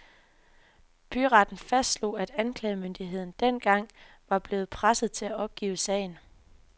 Byretten fastslog, at anklagemyndigheden dengang var blevet presset til at opgive sagen.